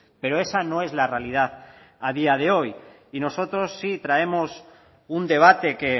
pero esa no es la realidad a día de hoy y nosotros sí traemos un debate que